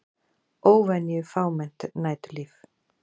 Óvenju fámennt næturlíf